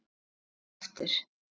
Víkka aftur.